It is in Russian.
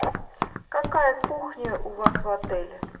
какая кухня у вас в отеле